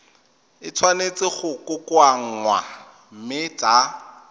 tshwanetse go kokoanngwa mme tsa